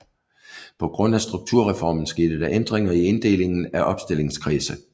På grund af Strukturreformen skete der ændringer i inddelingen af opstillingskredse